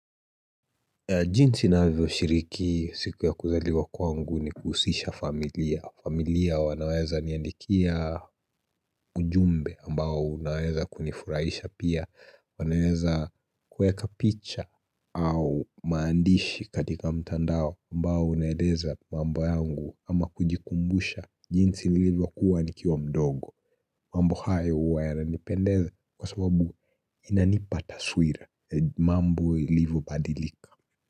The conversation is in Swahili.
Jinsi navyoshiriki siku ya kuzaliwa kwaangu ni kuhusisha familia. Familia wanaweza niandikia ujumbe ambao unaweza kunifuraisha pia. Wanaweza kueka picha au maandishi katika mtandao ambao unaeleza mambo yangu ama kujikumbusha. Jinsi nilivyokuwa nikiwa mdogo. Mambo hayo huwa yananipendeza kwa sababu inanipa taswira. Mambo ilivyo badilika.